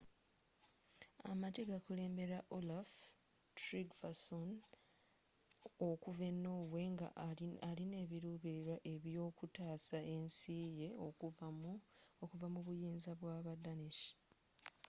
amagye gakulembelwa olaf trygvasson okuva e norway nga alino ebilubililwa ebyokutaasa ensi ye okuva mu buyinza bwa ba danish